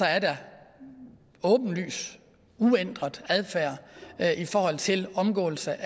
er der åbenlys uændret adfærd i forhold til omgåelse